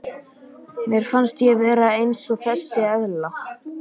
Mér finnst ég vera eins og þessi eðla.